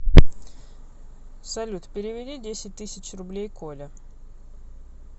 салют переведи десять тысяч рублей коле